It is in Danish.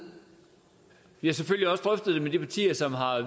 vi har selvfølgelig også drøftet det med de partier som har